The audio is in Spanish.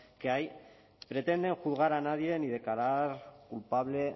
que hay pretende juzgar a nadie ni declarar culpable